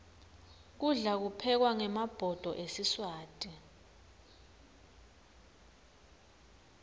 kudla kuphekwa ngemabhodo esiswati